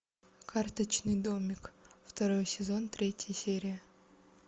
карточный домик второй сезон третья серия